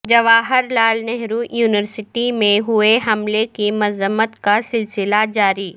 Jawahar Lal Nehru university میں ہوئے حملے کی مذمت کا سلسلہ جاری